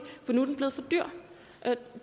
nu er blevet for dyr